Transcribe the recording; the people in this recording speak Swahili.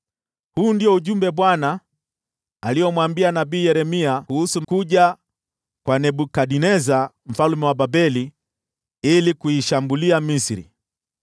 Huu ndio ujumbe Bwana aliomwambia nabii Yeremia kuhusu kuja kwa Nebukadneza mfalme wa Babeli ili kuishambulia Misri: